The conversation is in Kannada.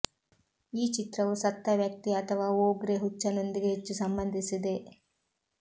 ಈ ಚಿತ್ರವು ಸತ್ತ ವ್ಯಕ್ತಿ ಅಥವಾ ಓಗ್ರೆ ಹುಚ್ಚನೊಂದಿಗೆ ಹೆಚ್ಚು ಸಂಬಂಧಿಸಿದೆ